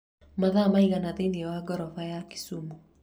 mathaa maigana thĩinĩ wa ngorofa ya kisumu